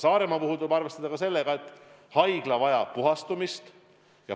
Saaremaa puhul tuleb arvestada ka sellega, et haigla vajab puhastamist.